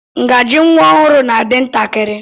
Ngaji nwa ọhụụ na-adi ntakịrị.